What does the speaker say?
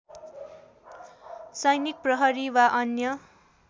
सैनिक प्रहरी वा अन्य